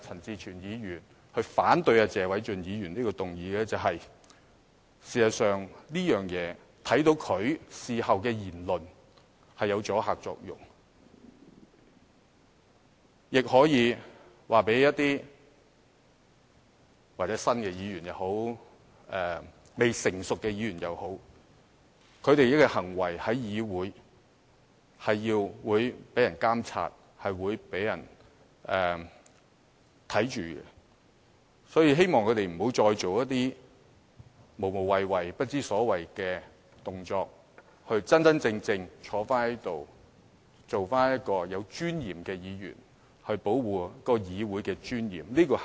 事實上，在謝議員提出這項議案後，觀乎鄭松泰議員事後的言論，此舉的確產生了阻嚇作用，亦可以告訴一些新議員，或未成熟的議員也好，他們的行為在議會內是會被監察、被審視的，所以，希望他們不要做一些無謂、不知所謂的動作，而是要真正地坐在這裏，做個有尊嚴的議員，以保護議會的尊嚴。